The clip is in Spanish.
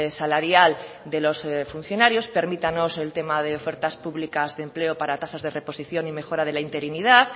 salarial de los funcionarios permítanos el tema de ofertas públicas de empleo para tasas de reposición y mejora de la interinidad